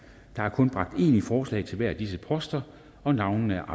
der er kun bragt én i forslag til hver af disse poster og navnene